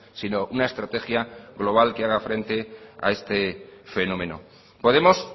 sino una estrategia global que haga frente a este fenómeno podemos